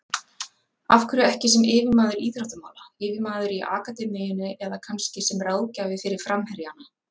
Af hverju ekki sem yfirmaður íþróttamála, yfirmaður í akademíunni eða kannski sem ráðgjafi fyrir framherjana?